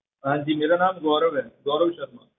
ਹਾਂਜੀ ਮੇਰਾ ਨਾਮ ਗੋਰਵ ਹੈ ਗੋਰਵ ਸ਼ਰਮਾ।